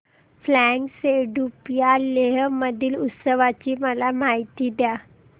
फ्यांग सेडुप या लेह मधील उत्सवाची मला माहिती द्या